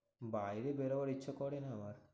বাইরে বেরোবার ইচ্ছা করে না আবার।